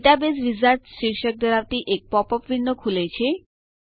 database wizard શીર્ષક ધરાવતી એક પોપ અપ વિન્ડો ખૂલે છે